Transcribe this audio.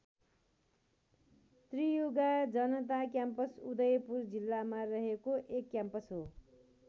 त्रियुगा जनता क्याम्पस उदयपुर जिल्लामा रहेको एक क्याम्पस हो।